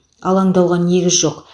алаңдауға негіз жоқ